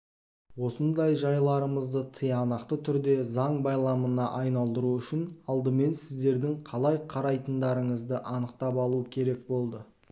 осындай жайларымызды тиянақты түрде заң байламына айналдыру үшін алдымен сіздердің қалай қарайтындарыңызды анықтап алу керек болды